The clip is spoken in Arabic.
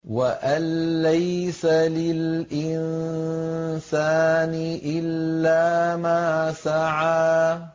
وَأَن لَّيْسَ لِلْإِنسَانِ إِلَّا مَا سَعَىٰ